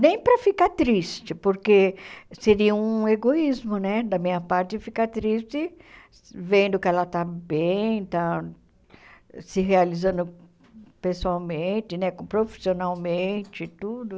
Nem para ficar triste, porque seria um egoísmo né da minha parte ficar triste vendo que ela está bem, está se realizando pessoalmente né, profissionalmente e tudo.